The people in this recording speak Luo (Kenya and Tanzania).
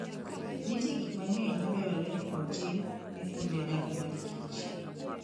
Nitie gik mang'eny madwarore ni otim ne kuonde dak mar kich.